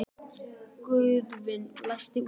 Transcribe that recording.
Guðvin, læstu útidyrunum.